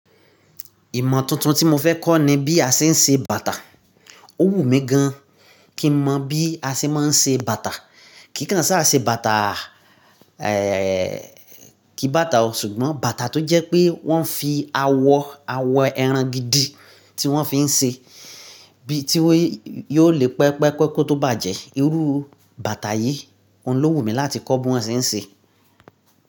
Ìmọ̀ tuntun tí mo fẹ́ kọ́ ní bí a ṣe ń se bàtà. Ó wù mí gan kín mọ̀ bí a ṣe máa ń ṣe bàtà. Kìí kàn ṣá ṣe bàtà, ẹ, kí bàtà o, ṣùgbọ́n bàtà tó jẹ́ pé wọ́n fi awọ ẹran gidi tí wọ́n fi ń ṣe, bí tí yó le pẹpẹ́kọ́ tó bàjẹ́. Irú bàtà yìí, òun lówù mí láti kọ́ bí wọ́n ṣe ń ṣe.